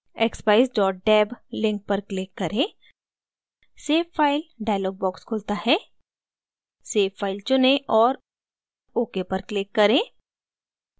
expeyes deb link पर click करें save file dialog box खुलता है save file चुनें और ok पर click करें